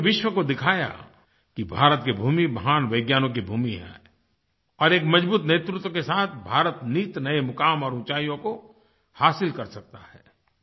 इसने पूरे विश्व को दिखाया कि भारत की भूमि महान वैज्ञनिकों की भूमि है और एक मज़बूत नेतृत्व के साथ भारत नित नए मुकाम और ऊँचाइयों को हासिल कर सकता है